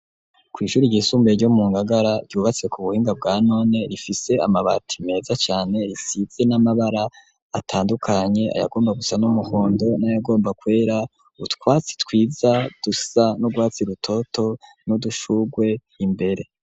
Kw'ishuri ryisumbuye ryo mu Ngagara ryubatse ku buhinga bwa none rifise amabati meza cane risize n'amabara atandukanye : ayagomba gusa n'umuhondo n'ayagomba kwera, utwatsi twiza dusa n'urwatsi rutoto n'udushugwe imbere.